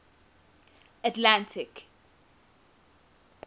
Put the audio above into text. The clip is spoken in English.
atlantic